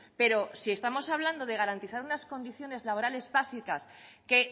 pero si estamos hablando de garantizar unas condiciones laborales básicas que